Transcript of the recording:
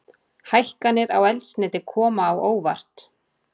Hækkanir á eldsneyti koma á óvart